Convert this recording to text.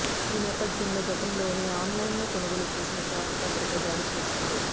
ఈ నేపథ్యంలో గతంలోనే ఆన్లైన్లో కొనుగోలు చేసిన చాకుతో అతడిపై దాడి చేసింది